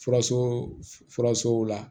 Furaso furasow la